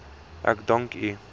ek dank u